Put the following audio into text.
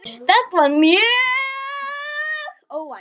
Þetta var mjög óvænt.